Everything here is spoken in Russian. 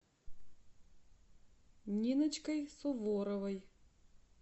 ниночкой суворовой